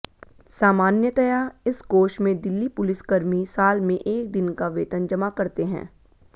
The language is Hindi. सामान्यतया इस कोष में दिल्ली पुलिसकर्मी साल में एक दिन का वेतन जमा करते हैं